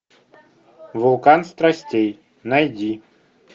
вулкан страстей найди